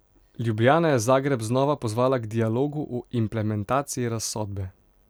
Ljubljana je Zagreb znova pozvala k dialogu o implementaciji razsodbe.